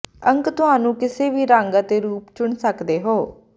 ਅੰਕ ਤੁਹਾਨੂੰ ਕਿਸੇ ਵੀ ਰੰਗ ਅਤੇ ਰੂਪ ਚੁਣ ਸਕਦੇ ਹੋ